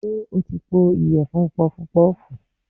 Ṣé o ti po ìyẹ̀fun funpọpọ́ọ̀fù?